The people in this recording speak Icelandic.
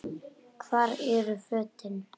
Hvar eru fötin?